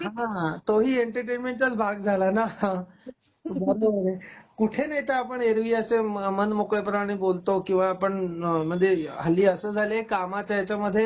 हां, तोही एंटरटेनमेंटचाच भाग झाला ना कुठे नाही तर ऐरवी आपण अस मानमोकळे पणे बोलतो किंवा आपण म्हणजे अ हल्ली अस झालंय कामाच्या ह्याच्यामधे